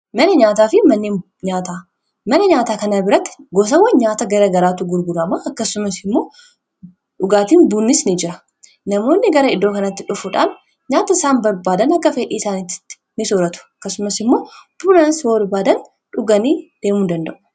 Manni nyaataa kana biratti gosawwan nyaata gara garaatu gurgunamaa akkasuma dhugaatiin bunnis ni jira namoonni . gara iddoo kanatti dhufuudhaan nyaata isaan barbaadan akka fedhiiisaanittti ni sooratu akkasumas immoo yoo barbaadan dhuganii deemuun danda'u.